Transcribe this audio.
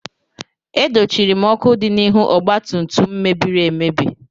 E dochiri m ọkụ dị n'ihu ọgbatumtum m mebiri emebi.